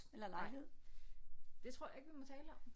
Nej det tror jeg ikke vi må tale om